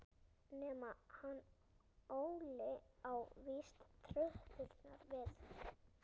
Nema hann Óli á víst tröppurnar við